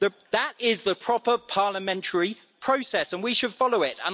That is the proper parliamentary process, and we should follow it.